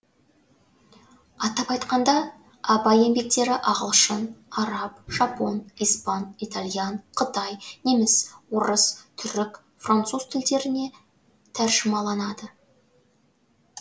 атап айтқанда абай еңбектері ағылшын араб жапон испан итальян қытай неміс орыс түрік француз тілдеріне тәржімаланады